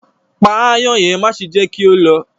Pà àayen yẹn, màṣe jẹ ki ó lọ